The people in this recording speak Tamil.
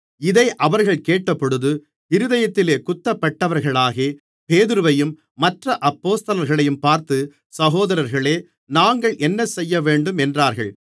இதை அவர்கள் கேட்டபொழுது இருதயத்திலே குத்தப்பட்டவர்களாகி பேதுருவையும் மற்ற அப்போஸ்தலர்களையும் பார்த்து சகோதரர்களே நாங்கள் என்னசெய்யவேண்டும் என்றார்கள்